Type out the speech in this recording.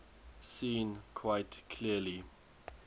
seen quite clearly